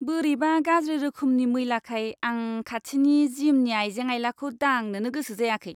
बोरैबा गाज्रि रोखोमनि मैलाखाय आं खाथिनि जिमनि आइजें आइलाखौ दांनोनो गोसो जायाखै।